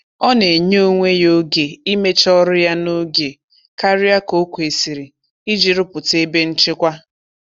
Ọ na-enye onwe ya oge imecha ọrụ ya n'oge karịa ka o kwesịrị iji rụpụta ebe nchekwa.